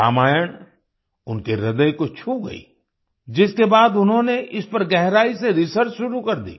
रामायण उनके हृदय को छू गयी जिसके बाद उन्होनें इस पर गहराई से रिसर्च शुरू कर दी